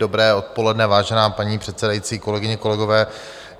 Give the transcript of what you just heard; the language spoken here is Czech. Dobré odpoledne, vážená paní předsedající, kolegyně, kolegové.